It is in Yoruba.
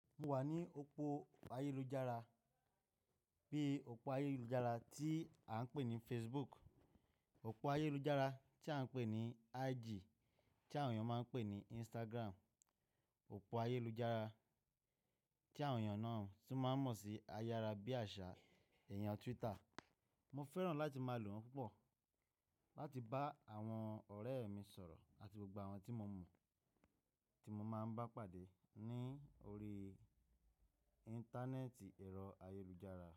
Mo wà ní òpó ayélujára bíi òpó ayélujára tí a ń pè ní Facebook, òpó ayélujára tí a ń pè ní IG tí àwọn èèyàn máa ń pè ní Instagram, òpó ayélujára tí àwọn èèyàn náà tún máa ń mọ̀ sí ayára bí àṣá, iyen Twitter. Mo fẹ́ràn láti máa lò wọ́n púpọ̀ láti bá àwọn ọ̀rẹ́ mi sọ̀rọ̀ àti gbogbo àwọn tí mo mọ̀ tí mo máa ń bá pàdé ní orí íńtánẹ́ẹ̀tì èrọ ayélujára.